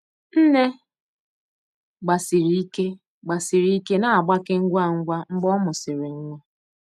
Nne gbasiri ike gbasiri ike na-agbake ngwa ngwa mgbe ọ mụsịrị nwa.